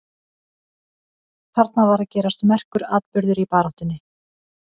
Þarna var að gerast merkur atburður í baráttunni.